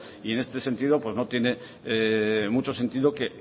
y en este sentido pues no tiene mucho sentido que